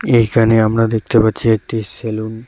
এইখানে আমরা দেখতে পাচ্ছি একটি সেলুন ।